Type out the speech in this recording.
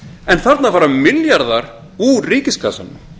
en þarna fara milljarðar úr ríkiskassanum